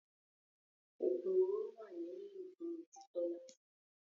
Ogun òróró wa ni lílò fún ojú Tola.